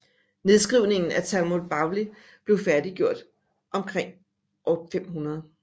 Nedskrivningen af Talmud Bavli blev færdiggjort omkring år 500